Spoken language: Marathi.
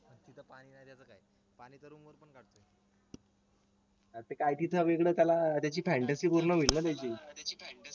त्याची fantasy पूर्ण होईल ना त्याची